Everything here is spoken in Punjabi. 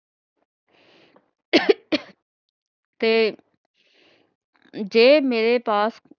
ਤੇ ਜੇ ਮੇਰੇ ਪਾਸ